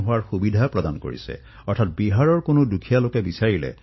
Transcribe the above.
পৰ্টেবিলিটীৰ জৰিয়তে দেশক একতাৰ ডোলত বান্ধিবলৈ সক্ষম হৈছে